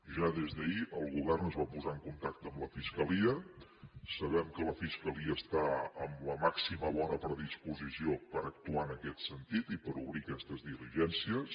ja des d’ahir el govern es va posar en contacte amb la fiscalia sabem que la fiscalia està amb la màxima bona predisposició per actuar en aquest sentit i per obrir aquestes diligències